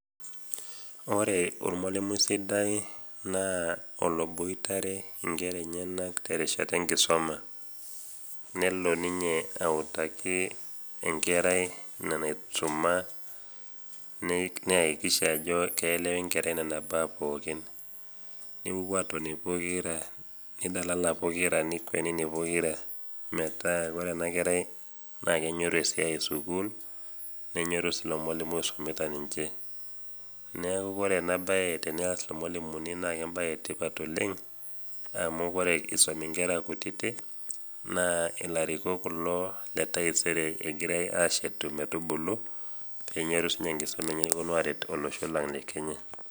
ore eolmalimui sidai naa oloboitare nkera eneyanak terishata enkisuma. nelo ninye autaki enkerai ina naisuma, neyakikisha ajo keelewa enkerai nena baa pookin. nipopuo aatoni pokira, nidalal pokira, metaa ore ena kerai naa kenyor esai esukuul. nenyoru sii ilo malimui oisumita ninche. neeku ore ena bae tenees irmalimuni naa ebae etipat oleng amu ore, enisum nkera kutitik naa ilarikok kul le taiseree girae aisum metubulu neyoru sii inche enkisuma enye nepuonu aarik olosho le kenya.